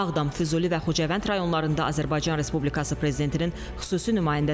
Baş plana əsasən 2040-cı ilə qədər şəhərdə 50 min nəfərin yaşaması nəzərdə tutulur.